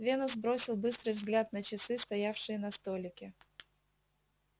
венус бросил быстрый взгляд на часы стоявшие на столике